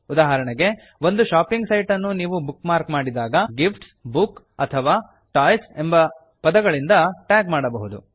ಉದಾಹರಣೆಗೆ ಒಂದು shopping site ಅನ್ನು ನೀವು ಬುಕ್ ಮಾರ್ಕ್ ಮಾಡಿದಾಗ ಗಿಫ್ಟ್ಸ್ ಬುಕ್ಸ್ ಅಥವಾ ಟಾಯ್ಸ್ ಎಂಬ ಪದಗಳಿಂದ ಟ್ಯಾಗ್ ಮಾಡಬಹುದು